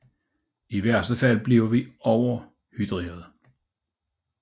I værste fald bliver vi overhydrerede